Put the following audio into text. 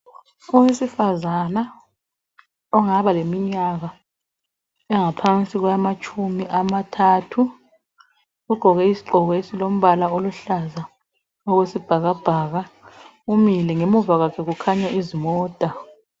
Owesifazana ongaba leminyaka engaphansi kwamatshumi amathathu ugqoke isigqoko esilombala oluhlaza okwesibhaka bhaka umile ngemuva kwakhe kukhanya izimota.